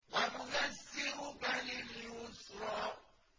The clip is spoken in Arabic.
وَنُيَسِّرُكَ لِلْيُسْرَىٰ